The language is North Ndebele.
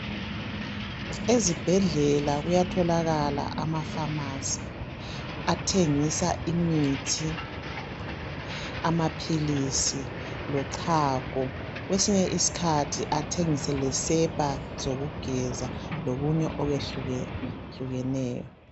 Ezibhedlela kuyatholakala amafamasi athengisa imithi amaphilisi lochago kwesinye isikhathi athengise lesepa zokugeza lokunye okwehlukehlukeneyo.